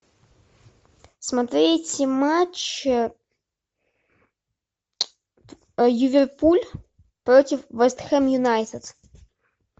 смотреть матч ливерпуль против вест хэм юнайтед